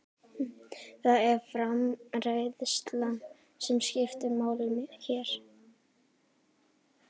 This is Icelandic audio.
Það er framreiðslan sem skiptir máli hér.